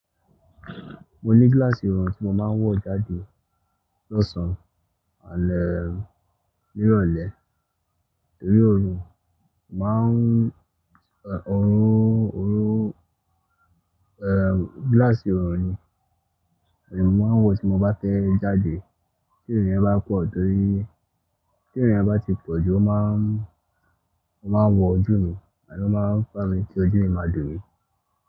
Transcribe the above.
Mo ní gíláàsì ọ̀rùn tí mo máa ń wọ̀ jáde lọ́sàn-án ni irolẹ́, torí ọ̀rùn, mo máa ń òróró, eh, gíláàsì ọ̀rùn ni èmi máa ń wọ tí mo bá tẹ́ jáde. Tí ìrìn ẹ bá pọ̀ torí, tí ìrìn ẹ bá ti pọ̀ jù ó máa ń, ó máa ń wọ ojú mi àní ó máa ń pa mi kí ojú mi máa dùn mí.